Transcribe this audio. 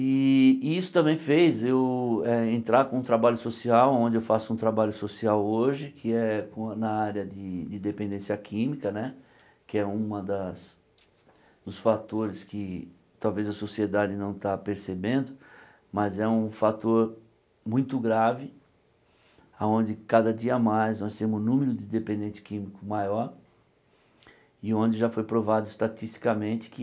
E isso também fez eu eh entrar com o trabalho social, onde eu faço um trabalho social hoje, que é com na área de de dependência química né, que é uma das dos fatores que talvez a sociedade não está percebendo, mas é um fator muito grave, aonde cada dia mais nós temos um número de dependente químico maior, e onde já foi provado estatisticamente que